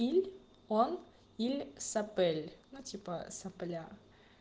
иль он иль сопель ну типо сопля